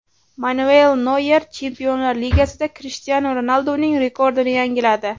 Manuel Noyer Chempionlar Ligasida Krishtianu Ronalduning rekordini yangiladi.